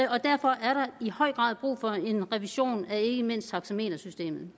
og derfor er der i høj grad brug for en revision af ikke mindst taxametersystemet